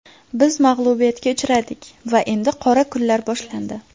Biz mag‘lubiyatga uchradik va endi qora kunlar boshlandi.